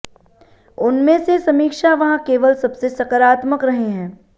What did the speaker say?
उनमें से समीक्षा वहाँ केवल सबसे सकारात्मक रहे हैं